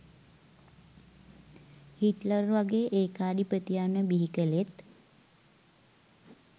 Hitler වගේ ඒකාධිපතියන්ව බිහි කලෙත්